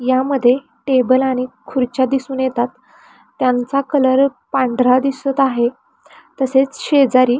यामध्ये टेबल आणि खुर्च्या दिसून येतात त्यांचा कलर पंढरा दिसत आहे तसेच शेजारी--